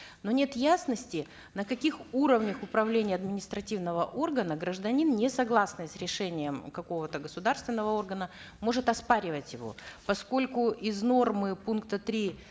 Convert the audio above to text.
но нет ясности на каких уровнях управления административного органа гражданин не согласный с решением какого то государственного органа может оспаривать его поскольку из нормы пункта три